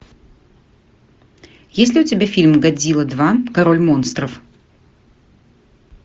есть ли у тебя фильм годзила два король монстров